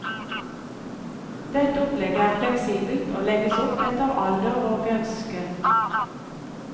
Dette opplegget er fleksibelt og legges opp etter alder og ønske.